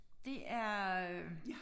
Det er øh